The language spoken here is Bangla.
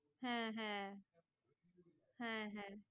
হ্যাঁ হ্যাঁ হ্যাঁ হ্যাঁ